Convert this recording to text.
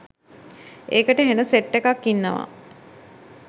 "ඒකට හෙන සෙට් එකක් ඉන්නව